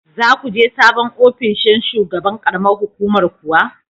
Za ku je sabon ofinshin shugaban ƙaramar hukumar kuwa?